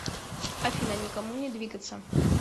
афина никому не двигаться